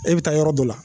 E bɛ taa yɔrɔ dɔ la